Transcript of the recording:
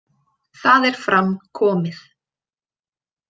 Það er fram komið.